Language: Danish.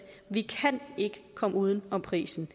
at vi ikke kan komme uden om prisen